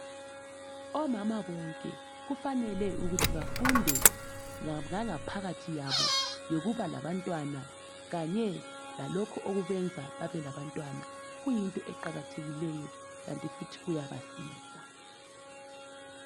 Omama bonke kufanele ukuthi bafunde ngangaphakathi yabo yokuba labantwana kanye lalokho okwenza babelabantwana kuyinto eqakathekileyo kanti futhi kuyabasiza